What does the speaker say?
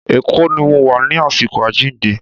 Èkó ni mo wà ní àsìkò àjíǹde.